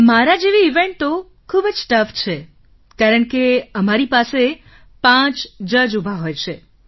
મારા જેવી ઇવેન્ટ તો ખૂબ જ ટાઉઘ છે કારણ કે અમારી પાસે પાંચ જજ ઊભા હોય છે